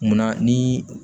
Munna ni